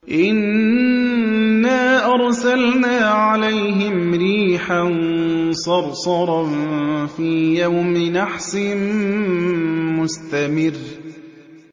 إِنَّا أَرْسَلْنَا عَلَيْهِمْ رِيحًا صَرْصَرًا فِي يَوْمِ نَحْسٍ مُّسْتَمِرٍّ